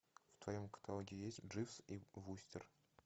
в твоем каталоге есть дживс и вустер